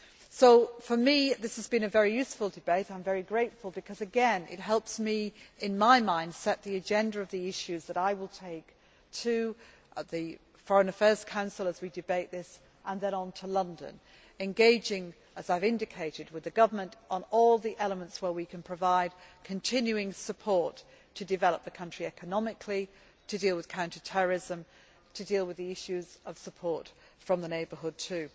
So for me, this has been a very useful debate, I am very grateful, because again it helps me in my mind to set the agenda of the issues that I will take to the Foreign Affairs Council as we debate this and then on to London engaging, as I have indicated, with the government on all the elements where we can provide continuing support to develop the country economically, to deal with counter terrorism, to deal with the issues of support from the neighbourhood, too.